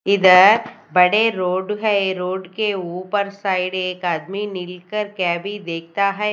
इधर बड़े रोड हैं रोड के ऊपर साइड एक आदमी मिलकर क्या भीं देखता हैं।